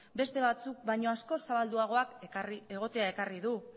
beste batzuk baino askoz zabalduagoak egotea ekarri du